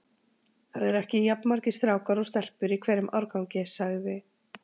Það eru ekki jafn margir strákar og stelpur í hverjum árgangi sagði